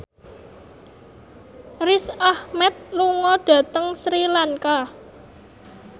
Riz Ahmed lunga dhateng Sri Lanka